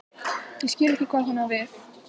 Ég skil ekki hvað hún á við.